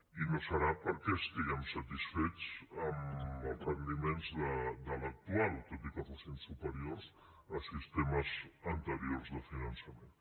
i no serà perquè estiguem satisfets dels rendiments de l’actual tot i que fossin superiors a sistemes anteriors de finançament